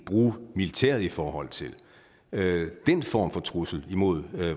bruge militæret i forhold til den form for trussel imod